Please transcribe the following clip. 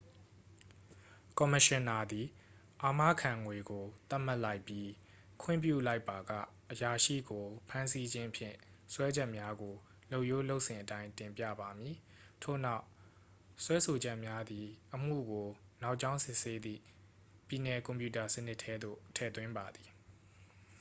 ကော်မရှင်နာသည် အာမခံငွေကို သတ်မှတ်လိုက်ပြီး ခွင့်ပြုလိုက်ပါက အရာရှိကိုဖမ်းဆီးခြင်းဖြင့် စွဲချက်များကို လုပ်ရိုးလုပ်စဉ်အတိုင်း တင်ပြပါမည် ထို့နောက် စွဲဆိုချက်များသည် အမှုကိုနောက်ကြောင်းစစ်ဆေးသည့် ပြည်နယ်ကွန်ပြူတာစနစ်ထဲသို့ ထည့်သွင်းပါသည်